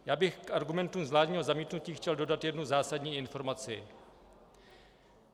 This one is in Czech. Já bych k argumentu vládního zamítnutí chtěl dodat jednu zásadní informaci.